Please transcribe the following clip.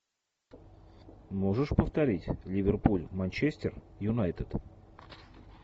можешь повторить ливерпуль манчестер юнайтед